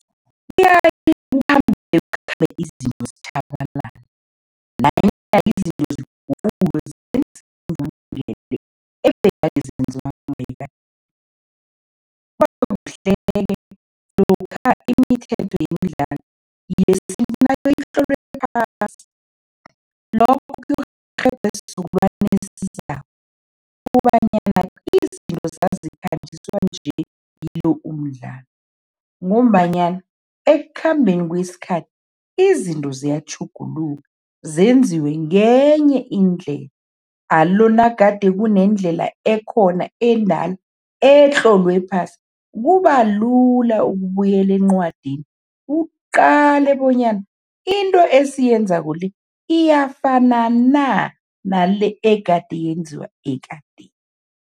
Izinto zitjhabalala ebegade lokha imithetho yemidlalo itlolwe phasi lokho isizukulwana esizako kobanyana izinto zazikhanjiswa nje kilo umdlalo ngombanyana ekukhambeni kwesikhathi, izinto ziyatjhuguluka, zenziwe ngenye indlela, alo nagade kunendlela ekhona etlolwe phasi, kuba lula ukubuyela encwadini uqale bonyana into esiyenzako le, iyafana na nale egade yenziwa ekadeni.